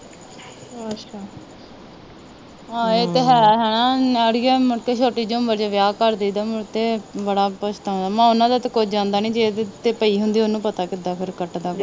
ਅੱਛਾ ਹਾਂ ਇਹ ਤਾ ਹੈ ਹੇਨਾ ਅੜੀਏ ਮੁੜਕੇ ਛੋਟੀ ਜੀ ਉਮਰ ਚ ਵਿਆਹ ਕਰ ਦਈ ਦਾ ਮੁੜਕੇ ਬੜਾ ਪਛਤਾਓਣਾ ਮੈ ਕਿਹਾ ਓਹਨਾ ਦਾ ਤੇ ਕੁਛ ਜਾਂਦਾ ਨਹੀਂ ਜਿਹਦੇ ਤੇ ਪਈ ਹੁੰਦੀ ਓਹਨੂੰ ਪਤਾ ਫਿਰ ਕਿਦਾ ਕੱਟਦਾ ਵਾ।